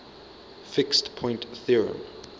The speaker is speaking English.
fixed point theorem